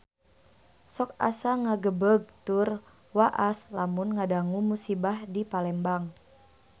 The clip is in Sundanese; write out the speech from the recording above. Sok asa ngagebeg tur waas lamun ngadangu musibah di Palembang